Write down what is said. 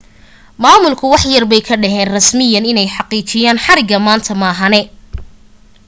maamulku wax yarbay ka dhaheen rasmiyan inay xaqiijiyeen xariga maanta maahane